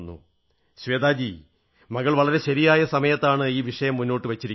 ശ്വേതാജീ മകൾ വളരെ ശരിയായ സമയത്താണ് ഈ വിഷയം മുന്നോട്ടു വച്ചിരിക്കുന്നത്